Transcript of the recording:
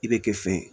I bɛ kɛ fɛn ye